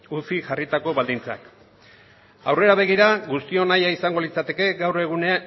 ucik jarritako baldintzak aurrera begira guztion nahia izango litzateke